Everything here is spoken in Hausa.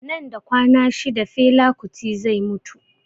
Nan da kwana shida fela kuti zai mutu